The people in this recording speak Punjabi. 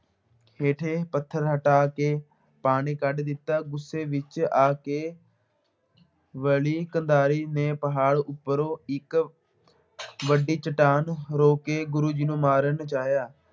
ਹੇਠੇ ਪੱਥਰ ਹਟਾ ਕੇ ਪਾਣੀ ਕੱਢ ਦਿੱਤਾ, ਗੁੱਸੇ ਵਿੱਚ ਆ ਕੇ ਵਲੀ ਕੰਧਾਰੀ ਨੇ ਪਹਾੜ ਉੱਪਰੋਂ ਇੱਕ ਵੱਡੀ ਚੱਟਾਨ ਰੋਕ ਕੇ ਗੁਰੂ ਜੀ ਨੂੰ ਮਾਰਨ ਚਾਹਿਆ,